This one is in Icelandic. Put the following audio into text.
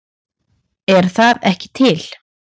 Er það ekki til?